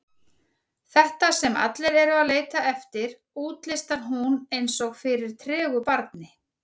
Þetta sem allir eru að leita eftir, útlistar hún eins og fyrir tregu barni.